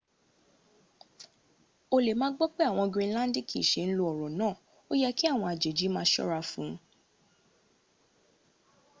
o lè ma gbọ́ pé áwọn ará grinlandikí se n ló oro náà o yẹ kí àwọn àjèjì má a sọ́ra fún un